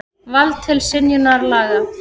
Vald til synjunar laga.